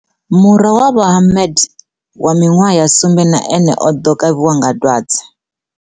Murwa wa Vho Mohammed wa miṅwaha ya sumbe na ene o ḓo kavhiwa nga dwadze.